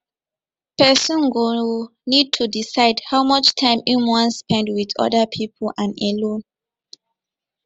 person go need to decide how much time im wan spend with oda pipo and alone